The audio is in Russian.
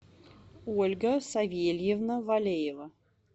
ольга савельевна валеева